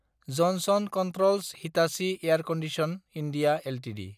Johnson controls Hitachi air condition. India Ltd